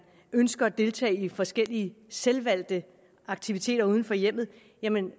ønsker at deltage i forskellige selvvalgte aktiviteter uden for hjemmet er man